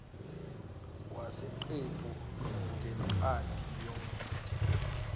wesiqephu ngencwadi yomgomo